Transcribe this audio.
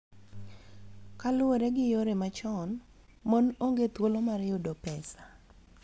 Kaluwore gi yore machon, mon onge thuolo mar yudo pesa